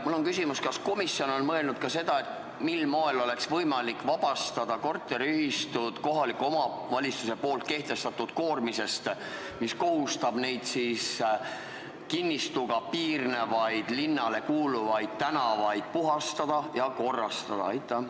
Mul on küsimus: kas komisjon on mõelnud ka seda, mil moel oleks võimalik vabastada korteriühistud kohaliku omavalitsuse kehtestatud koormisest, mis kohustab neid kinnistuga piirnevaid linnale kuuluvaid tänavaid puhastama ja korrastama?